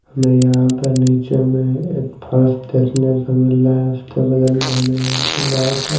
हमें यहाँ पर नीचे में एक फर्श देखने को मिल रहा है उसके बगल में यहाँ पर बहुत--